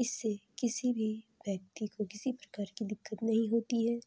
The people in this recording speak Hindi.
इससे किसी भी व्यक्ति को किसी प्रकार की दिक्कत नहीं होती है